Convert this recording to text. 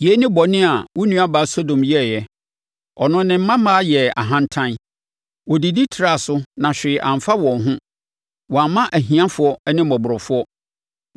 “ ‘Yei ne bɔne a wo nuabaa Sodom yɛeɛ: Ɔno ne mmammaa yɛɛ ahantan. Wɔdidi traa so na hwee amfa wɔn ho, wɔammoa ahiafoɔ ne mmɔborɔfoɔ.